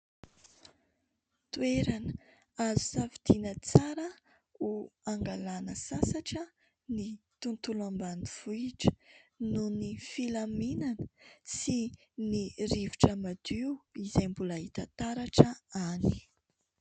Toerana azo safidiana tsara ho angalana sasatra ny tontolo ambanivohitra nohon'ny filaminana sy ny rivotra madio izay mbola hita taratra any.